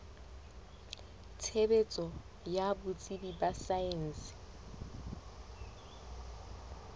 tshebetso ya botsebi ba saense